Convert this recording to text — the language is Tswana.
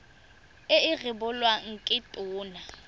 e e rebolwang ke tona